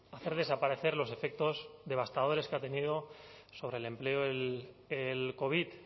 hacer desaparecer los efectos devastadores que ha tenido sobre el empleo el covid